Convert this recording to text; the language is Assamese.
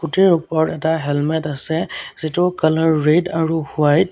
স্কুটিৰ ওপৰত এটা হেলমেট আছে যিটোৰ কালাৰ ৰেড আৰু হোৱাইট ।